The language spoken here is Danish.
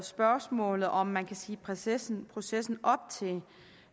spørgsmålet om man kan sige processen processen op til